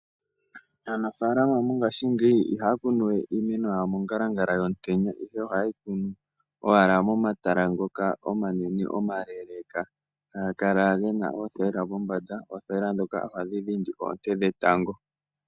Aanfalama mongaashingeyi ihaya kunu we iimeno yawo mongalangala yomutenya, ihe ihaye yi kunu owala momatala ngoka omanene omaleleka haga kala gena oothayila pombanda. Oothayila ndhoka ohadhi dhindi oonte dhetango.